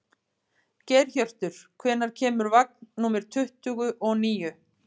Geirhjörtur, hvenær kemur vagn númer tuttugu og níu?